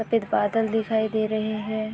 सफ़ेद बादल दिखाई दे रहे हैं ।